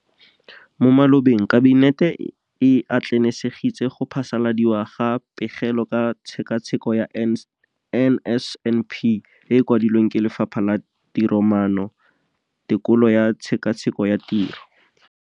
Mo malobeng Kabinete e atlenegisitse go phasaladiwa ga Pegelo ka Tshekatsheko ya NSNP e e kwadilweng ke Lefapha la Tiromaano, Tekolo le Tshekatsheko ya Tiro, DPME.